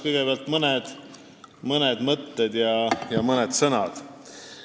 Kõigepealt mõned mõtted ja sõnad sissejuhatuseks.